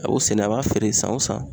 A y'o sɛnɛ a b'a feere san o san.